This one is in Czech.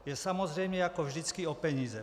Jde samozřejmě jako vždycky o peníze.